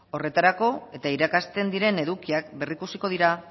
horretarako eta irakasten diren edukiak berrikusiko dira